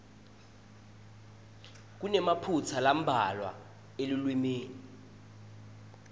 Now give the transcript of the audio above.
kunemaphutsa lambalwa elulwimi